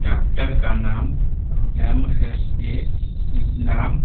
Doctor का नाम M S A. नाम --